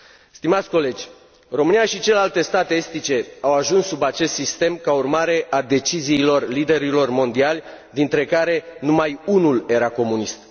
Stimați colegi, România și celelalte state estice au ajuns sub acest sistem ca urmare a deciziilor liderilor mondiali, dintre care numai unul era comunist.